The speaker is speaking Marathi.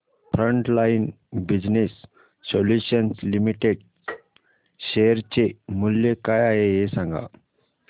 frontline business solutions limited share चे मूल्य काय आहे हे सांगा